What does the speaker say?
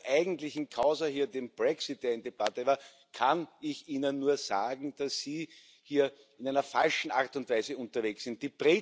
Zur eigentlichen Causa hier, der Brexit Debatte, kann ich Ihnen nur sagen, dass Sie hier in der falschen Art und Weise unterwegs sind.